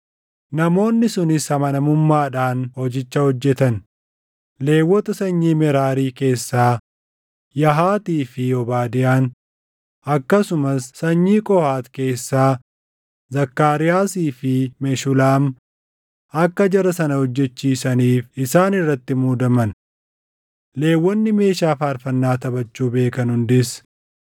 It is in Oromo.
Namoonni sunis amanamummaadhaan hojicha hojjetan. Lewwota sanyii Meraarii keessaa Yahaatii fi Obaadiyaan akkasumas sanyii Qohaati keessaa Zakkaariyaasii fi Meshulaam akka jara sana hojjechiisaniif isaan irratti muudaman. Lewwonni meeshaa faarfannaa taphachuu beekan hundis